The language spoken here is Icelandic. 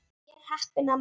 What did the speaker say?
Ég er heppin amma.